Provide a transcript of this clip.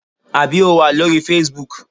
Àbí o wà lórí facebook?